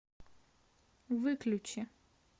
выключи